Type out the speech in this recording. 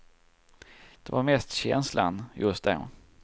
Det var mest känslan just då.